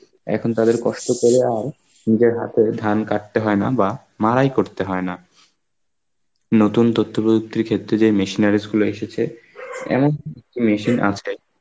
এখন তাদের কষ্ট করে আর নিজের হাতে ধান কাটতে হয় না বা মারাই করতে হয় না. নতুন তথ্যপ্রযুক্তির ক্ষেত্রে যেই machineries গুলো এসেছে, এমন machine .